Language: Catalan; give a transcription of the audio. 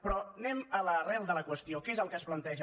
però anem a l’arrel de la qüestió què és el que es planteja